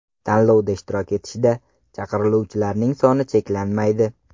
Tanlovda ishtirok etishda chaqiriluvchilarning soni cheklanmaydi.